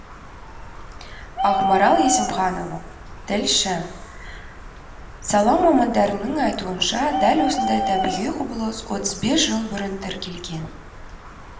ақмарал есімханова тілші сала мамандарының айтуынша дәл осындай табиғи құбылыс отыз бес жыл бұрын тіркелген